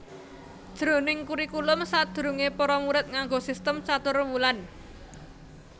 Jroning kurikulum sadurungé para murid nganggo sistem caturwulan